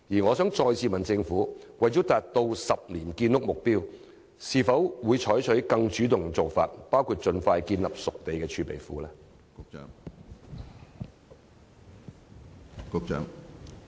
我想再次詢問政府，為了達到10年建屋目標，會否採取更主動的做法，包括盡快建立熟地儲備庫？